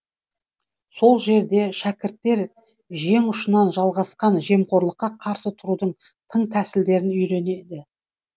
сол жерде шәкірттер жең ұшынан жалғасқан жемқорлыққа қарсы тұрудың тың тәсілдерін үйренеді